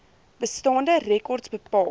bestaande rekords bepaal